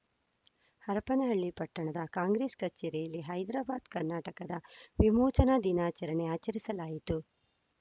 ಹರಪನಹಳ್ಳಿ ಪಟ್ಟಣದ ಕಾಂಗ್ರೆಸ್‌ ಕಚೇರಿಯಲ್ಲಿ ಹೈದ್ರಾಬಾದ್‌ ಕರ್ನಾಟಕದ ವಿಮೋಚನಾ ದಿನಾಚರಣೆ ಆಚರಿಸಲಾಯಿತು